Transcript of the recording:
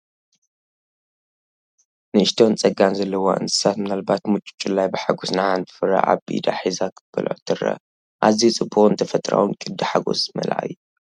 ንእሽቶን ጸጋን ዘለዋ እንስሳ ምናልባት ምጩጩላይ ብሓጎስ ንሓንቲ ፍረ ኣብ ኢዳ ሒዛ ክትበልዖ ትረአ። ኣዝዩ ጽቡቕን ተፈጥሮኣዊን ቅዲ ሓጎስ ዝመልአ እዩ።